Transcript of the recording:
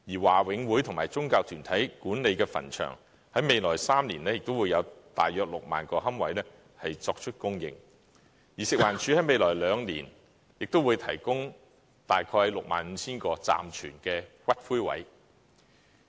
華永會和宗教團體管理的墳場在未來3年亦會有約 60,000 個龕位供應，而食環署在未來兩年亦會提供大約 65,000 個暫存骨灰位。